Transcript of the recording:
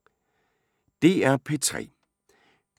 DR P3